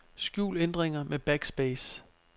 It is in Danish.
Skjul ændringer med backspace.